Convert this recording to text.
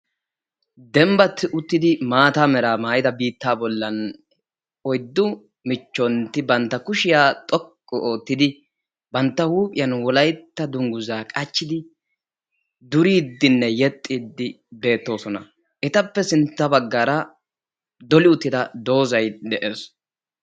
Dembba uttiddi maatta mera maayidda sohuwan oyddi michchoti wolaytta wogaa maayuwa maayiddi durosonna. Ettappe hinni bagan dolli uttidda doozzay de'ees.